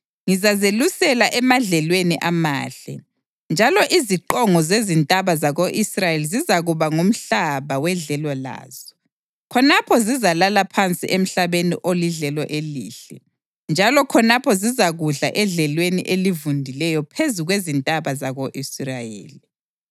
Ngizazelusela emadlelweni amahle, njalo iziqongo zezintaba zako-Israyeli zizakuba ngumhlaba wedlelo lazo. Khonapho zizalala phansi emhlabeni olidlelo elihle, njalo khonapho zizakudla edlelweni elivundileyo phezu kwezintaba zako-Israyeli.